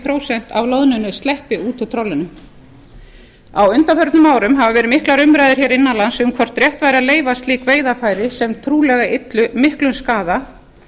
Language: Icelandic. prósent af loðnunni sleppur út úr trollinu á undanförnum árum hafa verið miklar umræður innan lands um hvort rétt væri að leyfa slík veiðarfæri sem trúlega yllu miklum skaða